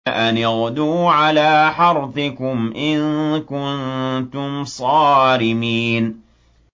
أَنِ اغْدُوا عَلَىٰ حَرْثِكُمْ إِن كُنتُمْ صَارِمِينَ